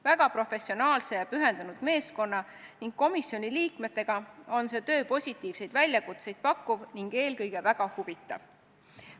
Väga professionaalse ja pühendunud meeskonna ning komisjoni liikmetega on see töö positiivseid väljakutseid pakkuv ning eelkõige väga huvitav.